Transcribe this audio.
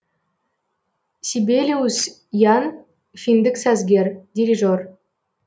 сибелиус ян финдік сазгер дирижер